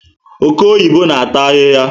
Oke oyibo na ata ahịhịa